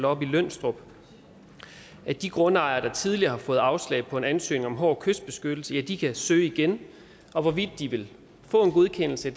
oppe i lønstrup at de grundejere der tidligere har fået afslag på en ansøgning om hård kystbeskyttelse ja de kan søge igen hvorvidt de vil få en godkendelse